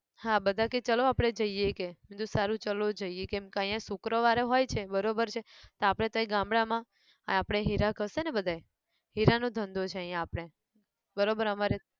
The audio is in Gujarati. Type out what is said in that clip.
હા બધા કેહ ચાલો આપણે જઈએ કેહ મેં કીધું સારું ચાલો જઈએ કેમ ક અહીંયા શુક્રવારે હોય છે બરોબર છે તો આપણે તૈ ગામડામાં આપડે હીરા ઘસે ને બધા હીરા નો ધંધો છે અહીંયા આપણે, બરોબર અમારે